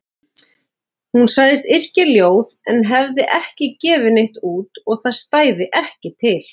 Hún sagðist yrkja ljóð en hefði ekki gefið neitt út og það stæði ekki til.